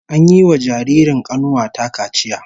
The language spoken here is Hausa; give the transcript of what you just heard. An yiwa dan jaririn kanuwa ta kaciya